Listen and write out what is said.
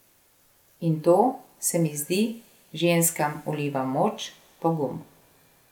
In to, se mi zdi, ženskam vliva moč, pogum.